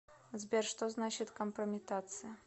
сбер что значит компрометация